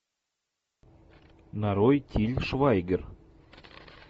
нарой тиль швайгер